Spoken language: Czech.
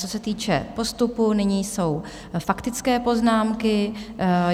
Co se týče postupu, nyní jsou faktické poznámky.